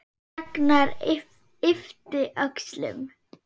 Ragnar yppti öxlum.